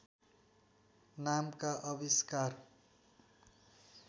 नामका आविष्कार